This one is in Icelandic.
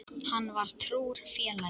Hann var trúr félagi.